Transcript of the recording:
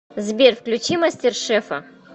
сбер включи мастер шефа